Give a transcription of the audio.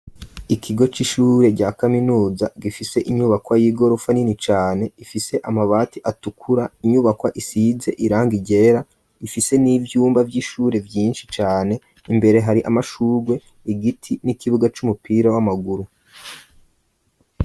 Ikigo c'ishure rya kaminuza gifise inyubakwa y'igorofa nini cane ifise amabati atukura inyubakwa isize irangi ryera ifise n'ivyumba vy'ishure vyinshi cane imbere hari amashugwe igiti n'ikibuga c'umupira w'amaguru.